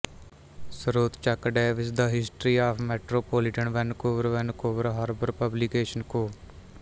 ਸ੍ਰੋਤ Chuck Davis the history of metropolitan Vancouver Vancouver harbour publication ਕੋ